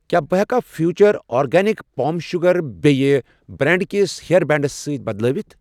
کیٛاہ بہٕ ہٮ۪کا فیوٗچر آرگینِکس پام شوٗگر بییٚہِ بریٚنڑ کِس ہییر بینٛڈس سۭتۍ بدلٲوِتھ؟